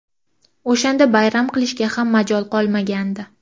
O‘shanda bayram qilishga ham majol qolmagandi.